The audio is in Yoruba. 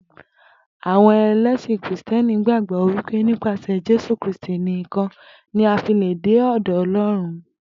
Àwo̩n e̩lé̩sìn Krìsté̩nì gbàgbó̩ wípé nípasè̩ Jésù Kristì nìkan ni a fi lè̩ dé ò̩dò̩ O̩ló̩run